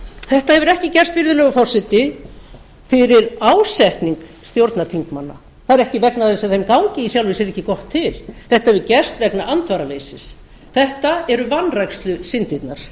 þetta hefur ekki gerst virðulegur forseti fyrir ásetning stjórnarþingmanna það er ekki vegna þess að þeim gangi í sjálfu sér ekki gott til þetta hefur gerst vegna andvaraleysis þetta eru vanrækslusyndirnar